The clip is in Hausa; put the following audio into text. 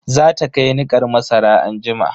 Za ta kai nikar masara anjima.